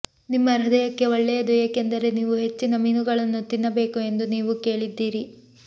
ನಿಮ್ಮ ಹೃದಯಕ್ಕೆ ಒಳ್ಳೆಯದು ಏಕೆಂದರೆ ನೀವು ಹೆಚ್ಚಿನ ಮೀನುಗಳನ್ನು ತಿನ್ನಬೇಕು ಎಂದು ನೀವು ಕೇಳಿದ್ದೀರಿ